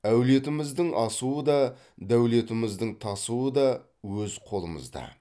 әулетіміздің асуы да дәулетіміздің тасуы да өз қолымызда